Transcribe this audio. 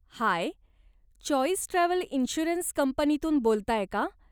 हाय, choice travel insurance कंपनीतून बोलताय का?